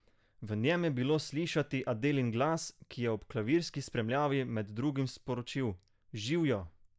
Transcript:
V njem je bilo slišati Adelin glas, ki je ob klavirski spremljavi med drugim sporočil: "Živijo!